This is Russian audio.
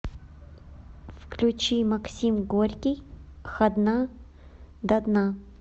включи максим горький хадна дадна